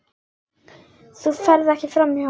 Þú ferð ekki framhjá honum.